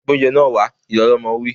Gbé óúnjẹ náà wá! Ìyá ọlọmọ wí